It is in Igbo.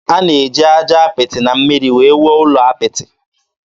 A na-eji aja apịtị na mmiri wee wuo ụlọ apị.